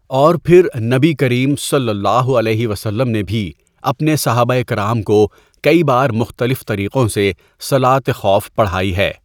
اور پھر نبی کریم صلی اللہ علیہ وسلم نے بھی اپنے صحابہ کرام کو کئی بار مختلف طریقوں سے صلاۃ خوف پڑھائی ہے.